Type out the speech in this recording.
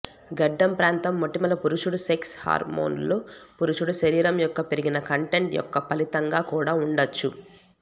గడ్డం ప్రాంతం మొటిమలు పురుషుడు సెక్స్ హార్మోన్లు పురుషుడు శరీరం యొక్క పెరిగిన కంటెంట్ యొక్క ఫలితంగా కూడా ఉండవచ్చు